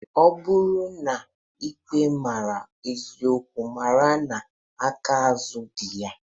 Ọ bụrụ na ikpe ma eziokwu mara na aka azụ di ya.